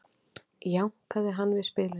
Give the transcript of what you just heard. jánkaði hann við spilinu